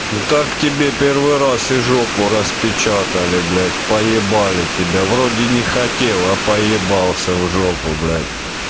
ну так тебе первый раз и жопу распечатали блять поебали тебя вроде не хотел а поебался в жопу блядь